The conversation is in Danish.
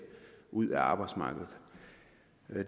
ud af arbejdsmarkedet